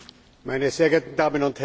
Sehr geehrte Damen und Herren!